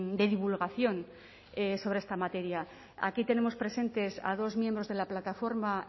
de divulgación sobre esta materia aquí tenemos presentes a dos miembros de la plataforma